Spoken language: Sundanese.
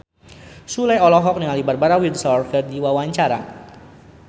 Sule olohok ningali Barbara Windsor keur diwawancara